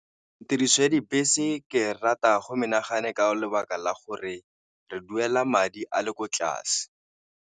Tiriso ya dibese ke rata go menagano ka lebaka la gore re duela madi a le ko tlase.